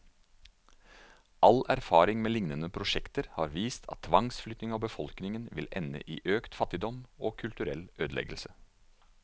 All erfaring med lignende prosjekter har vist at tvangsflytting av befolkningen vil ende i økt fattigdom, og kulturell ødeleggelse.